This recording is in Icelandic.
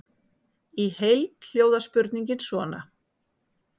Í heild hljóðar spurningin svona: